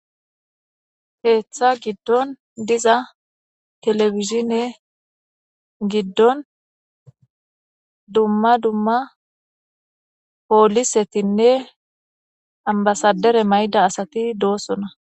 keeththa giddon diza telefizine giddon dumma dumma poolisetinne ambasadere mayda asati doosona.